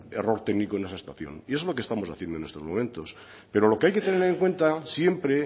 error técnico en esa estación y eso es lo que estamos haciendo en estos momentos pero lo que hay que tener en cuenta siempre